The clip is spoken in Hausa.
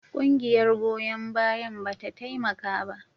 Ƙungiyar goyon bayan ba ta taimaka ba.